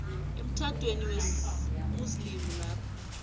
emtjhadweni wesimuslimu lapha